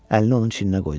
Əlini onun çininə qoydu.